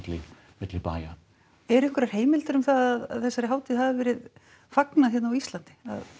milli bæja eru einhverjar heimildir um það að þessari hátíð hafi verið fagnað hérna á Íslandi